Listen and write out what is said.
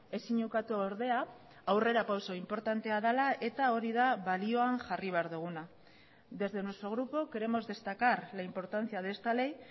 ezin ukatu ordea aurrerapauso inportantea dela eta hori da balioan jarri behar duguna desde nuestro grupo queremos destacar la importancia de esta ley